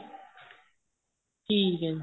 ਠੀਕ ਏ ਜੀ